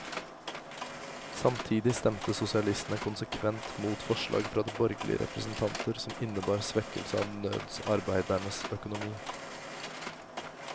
Samtidig stemte sosialistene konsekvent mot forslag fra borgerlige representanter som innebar svekkelse av nødsarbeidernes økonomi.